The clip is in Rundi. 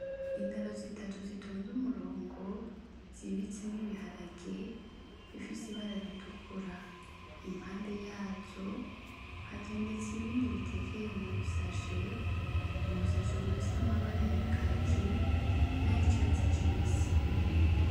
Intaro zitatu zitonze umurongo, zibitsemwo ibiharage bifise ibara ritukura. Impande yazo hatondetse ibindi bitekeye mu busashe, ubusashe bufise amabara ya kaki nay'icatsi kibisi.